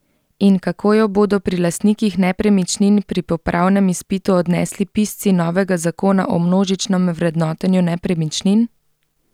In kako jo bodo pri lastnikih nepremičnin pri popravnem izpitu odnesli pisci novega zakona o množičnem vrednotenju nepremičnin?